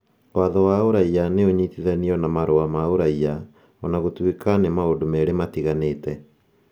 Watho wa Ũraiya nĩ ũnyitithanio na marũa ma ũraiya, o na gũtuĩka nĩ maũndũ merĩ matiganĩte.